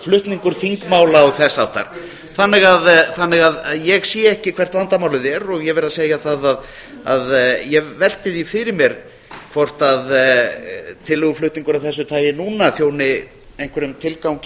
flutningur þingmála og þess háttar þannig að ég sé ekki hvert vandamálið er og ég verð að segja það að ég velti því fyrir mér hvort tillöguflutningur af þessu tagi núna þjóni einhverjum tilgangi í